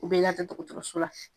U bɛ lada dɔkɔtɔrɔso la